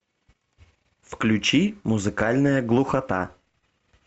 включи музыкальная глухота